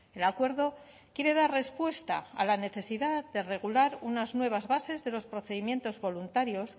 el acuerdo quiere dar respuesta a la necesidad de regular unas nuevas bases de los procedimientos voluntarios